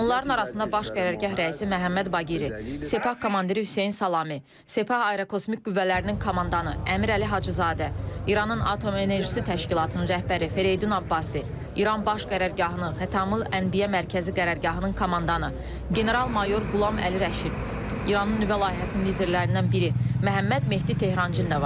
Onların arasında baş qərargah rəisi Məhəmməd Baqiri, Sepah komandiri Hüseyn Salami, Sepah Aerokosmik qüvvələrinin komandanı Əmir Əli Hacızadə, İranın Atom Enerjisi Təşkilatının rəhbəri Fereydun Abbasi, İran Baş Qərargahının Xatamul Ənbiya mərkəzi qərargahının komandanı general-mayor Qulam Əli Rəşid, İranın nüvə layihəsinin liderlərindən biri Məhəmməd Mehdi Tehrançı da var.